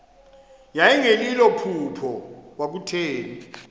yayingelilo phupha kwakutheni